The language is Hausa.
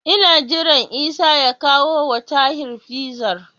Ina jiran Isa ya kawowa Tahir Fizar.